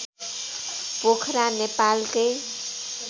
पोखरा नेपालकै